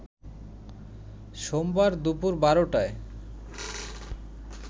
সোমবার দুপুর ১২টায়